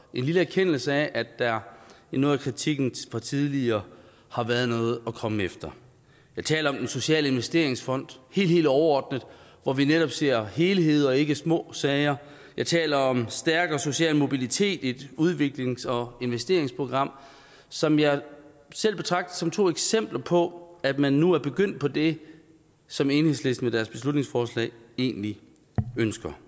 en lille erkendelse af at der i noget af kritikken fra tidligere har været noget at komme efter jeg taler om den sociale investeringsfond helt helt overordnet hvor vi netop ser helheder og ikke små sager jeg taler om stærkere social mobilitet i et udviklings og investeringsprogram som jeg selv betragter som to eksempler på at man nu er begyndt på det som enhedslisten med deres beslutningsforslag egentlig ønsker